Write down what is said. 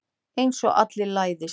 Einsog allir læðist.